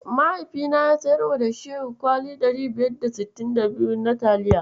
Mahaifina ya siyarwa da Shehu kwali 1562 na taliya.